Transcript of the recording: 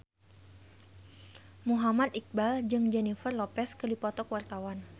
Muhammad Iqbal jeung Jennifer Lopez keur dipoto ku wartawan